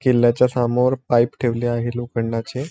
किल्ल्याच्या सामोर पाइप ठेवले आहे लोखंडाचे--